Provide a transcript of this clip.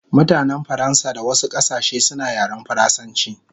Mutanen Faransa da wasu kasashe suna yaren faransanchi